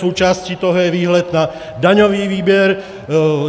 Součástí toho je výhled na daňový výběr.